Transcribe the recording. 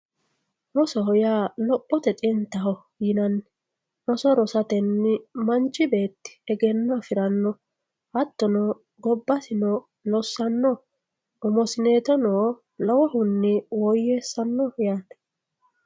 rosoho yaa lophote xintaho yinanni roso rosatenni manchi beetti egenno afiranno hattono gobbasino lossanno umosineetosino lowohunni woyyweessanno yaate